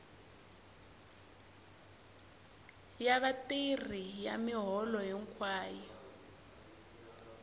ya vatirhi ya miholo hinkwayo